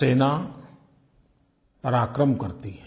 सेना पराक्रम करती है